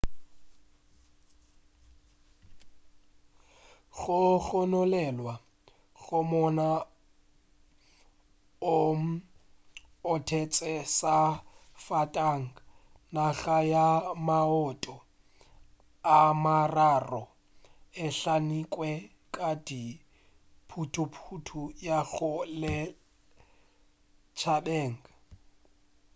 go gononelwa go monna o otetše safatanaga ya maoto a mararo e hlamilwe ka dithuthupi go ya lešhabeng